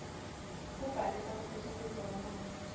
kubhalisa kusetjentiswa kwemanti